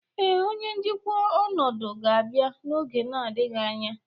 Ee, onye njikwa ọnọdụ ga-abịa n'oge adịghị anya